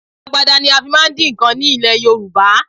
Agbada ni a fi máa ń dín nǹkan ní ilẹ̀ Yorùbá